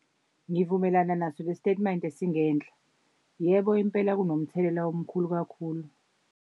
Ngivumelana naso le sitatimende esingenhla, yebo impela kunomthelela omkhulu kakhulu.